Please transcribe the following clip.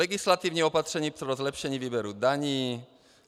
Legislativní opatření pro zlepšení výběru daní.